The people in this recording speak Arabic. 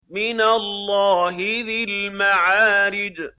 مِّنَ اللَّهِ ذِي الْمَعَارِجِ